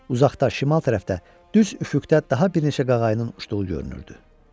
Uzaqda şimal tərəfdə, düz üfüqdə daha bir neçə qağayının uçduğu görünürdü.